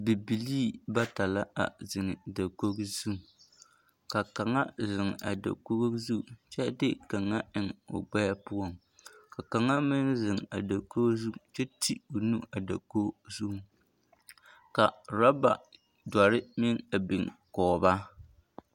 Bibilii bata la a zeŋ dakogi zu ka kaŋa a zeŋ a dakogi zu kyɛ de kaŋa eŋ o gbɛɛ poɔŋ ka kaŋa meŋ zeŋ a dakogi zu kyɛ ti o nu a dakogi zuŋ ka raba dɔre meŋ a biŋ kɔɔ ba.